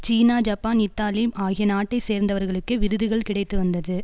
சீனா Japan Italy ஆகிய நாட்டை சேர்ந்தவர்களுக்கே விருதுகள் கிடைத்து வந்தது